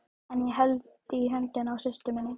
Ég held enn í höndina á systur minni.